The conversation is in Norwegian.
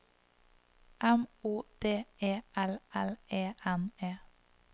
M O D E L L E N E